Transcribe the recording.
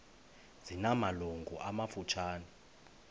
zina malungu amafutshane